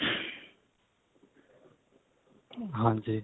ਹਾਂਜੀ